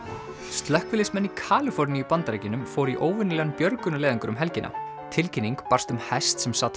slökkviðliðsmenn í Kaliforníu í Bandaríkjunum fóru í óvenjulegan björgunarleiðangur um helgina tilkynning barst um hest sem sat